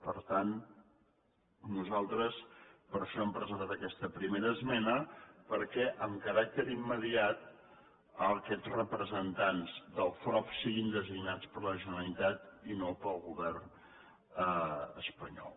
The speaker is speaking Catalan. per tant nosaltres per això hem presentat aquesta primera esmena perquè amb caràcter imme·diat aquests representants del frob siguin designats per la generalitat i no pel govern espanyol